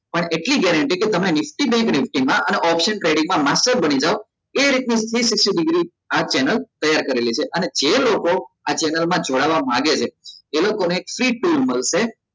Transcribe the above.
પણ એટલી guarantee કે nifty bank nifty માં અને option trading માં master બની જાઓ એ રીત નું આ channel તૈયાર કરેલી છે અને જે લોકો આ channel માં જોડવા માંગે છે એ લોકો ને free tool મળશે